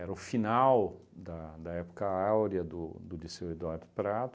o final da da época áurea do do Liceu Eduardo Prato,